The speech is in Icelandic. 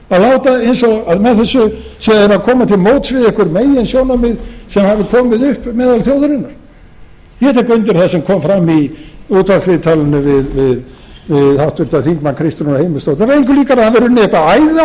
láta eins og með þessu séu þeir að koma til móts við einhver meginsjónarmið sem hafi komið upp meðal þjóðarinnar ég tek undir það sem kom fram í útvarpsviðtali við háttvirtan þingmann kristrúnu heimisdóttir það var engu líkara en að það hefði runnið eitthvert æði á